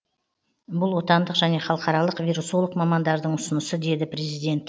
бұл отандық және халықаралық вирусолог мамандардың ұсынысы деді президент